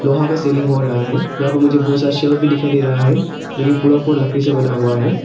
वहां का सीलिंग हो रहा है जहां पर मुझे बहुत सारे शेल्फ भी दिखाई दे रहा है जो की पूरा पूरा लकड़ी से बना हुआ है।